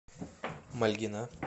мальгина